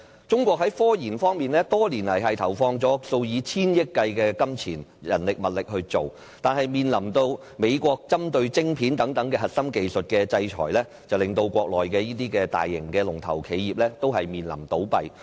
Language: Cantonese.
中國在科研方面多年來投放數以千億元計的金錢、人力和物力，但面臨美國針對晶片等核心技術的制裁，令國內的大型龍頭企業面臨倒閉。